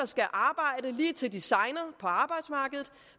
skal arbejde lige til de segner på arbejdsmarkedet